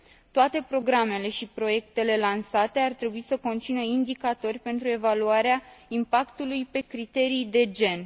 Toate programele și proiectele lansate ar trebui să conțină indicatori pentru evaluarea impactului pe criterii de gen.